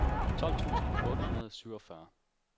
tolv tusind otte hundrede og syvogfyrre